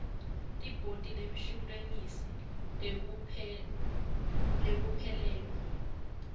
libhodi lemshuwalensi wekuphelelwa